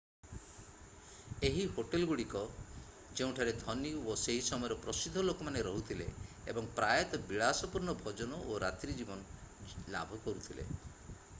ଏହି ହୋଟେଲଗୁଡ଼ିକ ଯେଉଁଠାରେ ଧନୀ ଓ ସେହି ସମୟର ପ୍ରସିଦ୍ଧ ଲୋକମାନେ ରହୁଥିଲେ ଏବଂ ପ୍ରାୟତଃ ବିଳାସପୂର୍ଣ୍ଣ ଭୋଜନ ଓ ରାତ୍ରି ଜୀବନ ଲାଭ କରୁଥିଲେ